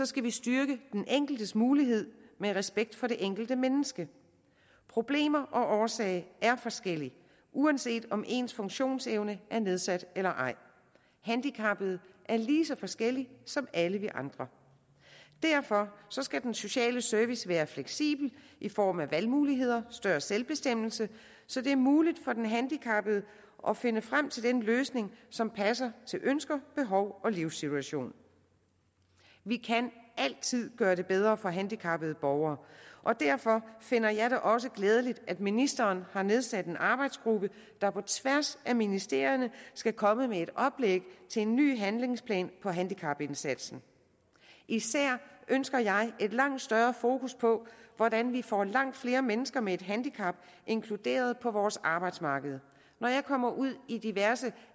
skal vi styrke den enkeltes mulighed med respekt for det enkelte menneske problemer og årsag er forskellige uanset om ens funktionsevne er nedsat eller ej handicappede er lige så forskellige som alle vi andre derfor skal den sociale service være fleksibel i form af valgmuligheder større selvbestemmelse så det er muligt for den handicappede at finde frem til den løsning som passer til ønsker behov og livssituation vi kan altid gøre det bedre for handicappede borgere og derfor finder jeg det også glædeligt at ministeren har nedsat en arbejdsgruppe der på tværs af ministerierne skal komme med et oplæg til en ny handlingsplan for handicapindsatsen især ønsker jeg et langt større fokus på hvordan vi får langt flere mennesker med et handicap inkluderet på vores arbejdsmarked når jeg kommer ud i diverse